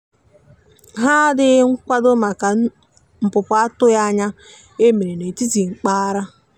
ha dịghị nkwado maka npụpụ atụghi anya e mere na etiti mpaghara.